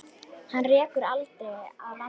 Hana rekur aldrei að landi.